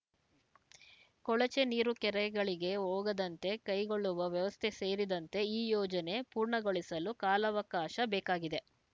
ಕೊಳಚೆ ನೀರು ಕೆರೆಗಳಿಗೆ ಹೋಗದಂತೆ ಕೈಗೊಳ್ಳುವ ವ್ಯವಸ್ಥೆ ಸೇರಿದಂತೆ ಈ ಯೋಜನೆ ಪೂರ್ಣಗೊಳಿಸಲು ಕಾಲಾವಕಾಶ ಬೇಕಾಗಿದೆ